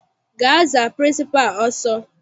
Gaa za pịrịnsịpalụ ọsọ!